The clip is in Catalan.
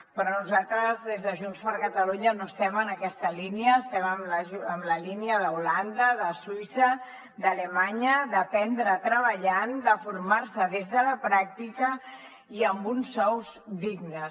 però nosaltres des de junts per catalunya no estem en aquesta línia estem en la línia d’holanda de suïssa d’alemanya d’aprendre treballant de formar se des de la pràctica i amb uns sous dignes